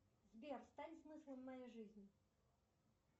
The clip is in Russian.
сбер стань смыслом моей жизни